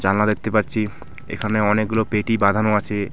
জানলা দেখতে পাচ্ছি এখানে অনেকগুলো পেটি বাঁধানো আছে.